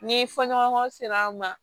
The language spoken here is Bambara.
Ni fɔ ɲɔgɔnkɔ sera an ma